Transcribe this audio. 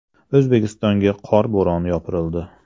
O‘zbekistonga qor bo‘roni yopirildi.